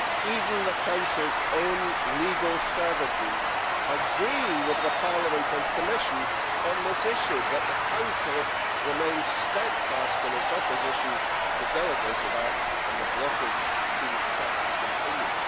Even the Council's own legal services agree with Parliament and the Commission on this issue, but the Council remains steadfast in its opposition to delegated acts and the blockage seems set to continue.